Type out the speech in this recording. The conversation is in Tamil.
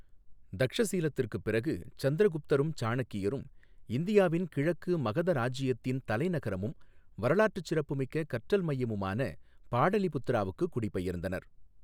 தக்ஷசீலத்திற்குப் பிறகு சந்திரகுப்தரும் சாணக்கியரும் இந்தியாவின் கிழக்கு மகத இராஜ்ஜியத்தின் தலைநகரமும் வரலாற்றுச் சிறப்புமிக்க கற்றல் மையமுமான பாடலிபுத்திரவுக்கு குடிபெயர்ந்தனர்.